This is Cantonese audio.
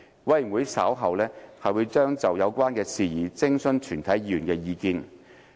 委員會稍後將就有關事宜徵詢全體議員的意見。